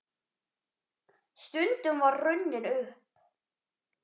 Stundin var runnin upp.